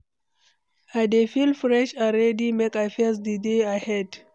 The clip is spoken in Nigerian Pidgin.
I dey feel fresh and ready make I face di day ahead.